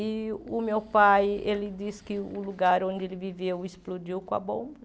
E o meu pai, ele disse que o lugar onde ele viveu explodiu com a bomba